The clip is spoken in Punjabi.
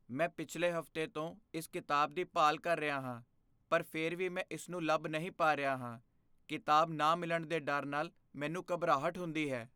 ਮੈਂ ਪਿਛਲੇ ਹਫ਼ਤੇ ਤੋਂ ਇਸ ਕਿਤਾਬ ਦੀ ਭਾਲ ਕਰ ਰਿਹਾ ਹਾਂ ਪਰ ਫਿਰ ਵੀ ਮੈਂ ਇਸ ਨੂੰ ਲੱਭ ਨਹੀਂ ਪਾ ਰਿਹਾ ਹਾਂ। ਕਿਤਾਬ ਨਾ ਮਿਲਣ ਦੇ ਡਰ ਨਾਲ ਮੈਨੂੰ ਘਬਰਾਹਟ ਹੁੰਦੀ ਹੈ।